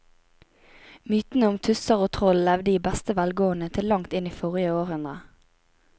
Mytene om tusser og troll levde i beste velgående til langt inn i forrige århundre.